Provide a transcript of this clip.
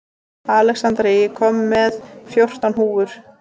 Alexandra, ég kom með fjórtán húfur!